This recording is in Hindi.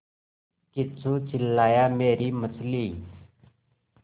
किच्चू चिल्लाया मेरी मछली